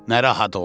narahat oldu.